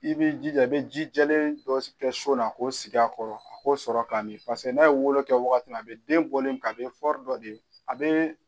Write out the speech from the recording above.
I bɛ jija i bɛ ji jɛlen dɔ kɛ son na k'o sigi a kɔrɔ a k'o sɔrɔ ka min paseke n'a ye wolo kɛ wagati min na a bɛ denbɔli min kɛ a bɛ dɔ de a bɛ